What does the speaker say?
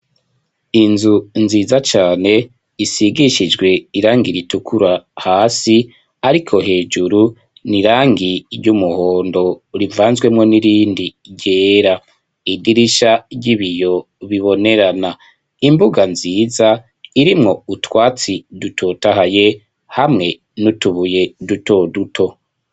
Inzu nziza cane isigishijwe irangi ritukura hasi, ariko hejuru ni irangi ry'umuhondo rivanzwemwo n'irindi ryera idirisha ry'ibiyo bibonerana imbuga nziza irimwo utwatsi dutotahaye h amwe nutubuye duto duto.